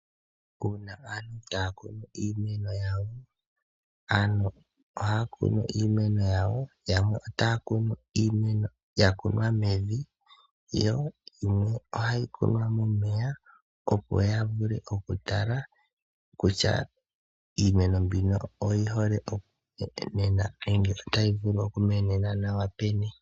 Uuna aantu haya kunu iimeno yawo. Aantu ohaya kunu iimeno yawo . Yamwe otaya kunu iimeno yakunwa mevi. Yimwe ohayi kunwa momeya opo ya vule oku tala kutya iimeno mbino otayi vulu okumenena nawa peni.